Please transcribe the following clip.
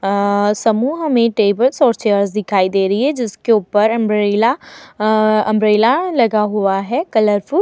आआ समूह में टेबल्स और चेयर्स दिखाई दे रही हैं जिसके ऊपर अंब्रेला अ अंब्रेला लगा हुआ है कलरफुल ।